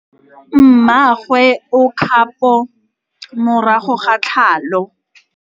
Mmagwe o kgapô morago ga tlhalô.